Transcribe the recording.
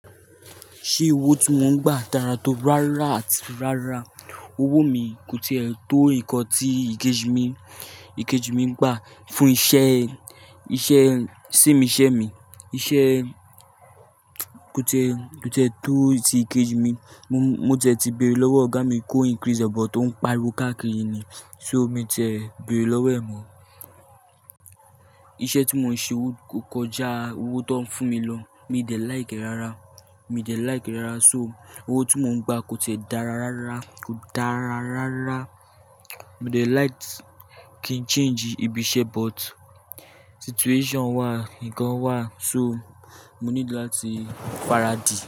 Ṣé owó tí wón ń gbà dára tó rárá àti rárá. Owó mi kò tiẹ tó nǹkan tí ìkejì mi, ìkejì mi ń gbà fún iṣẹ́, iṣẹ́ same iṣẹ́ mi. Iṣẹ́ kò tẹ, kò tẹ tó ti ìkejì mi. Mo tiẹ ti bẹ̀rẹ̀ lọ́wọ́ ọ̀gá mi kó increase ẹ but ó ń pariwo káàkiri ni, so mi tẹ bẹ̀rẹ̀ lọ́wọ́ ẹ̀ mọ. Iṣẹ́ tí mò ń ṣe o kọjá owó tó ń fún mi lọ. Mi dé like rárá, mi dé like rárá so owó tí mò ń gbà kò tiẹ dára rárá, kò dára rárá. Mo dé like kí n change ibi iṣẹ́ but situation wà, nǹkan wà so mo nílò láti faradi.